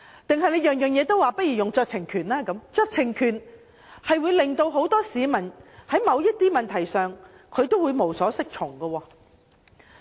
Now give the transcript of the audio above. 又或凡事都說行使酌情權，這樣只會令市民在某些問題上無所適從。